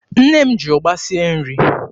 Nne m ji ụgba sie nri.